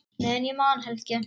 Meðan ég man, Helgi.